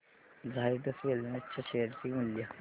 Zydus wellness च्या share चे मूल्य